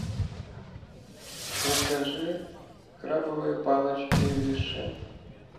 закажи крабовые палочки виши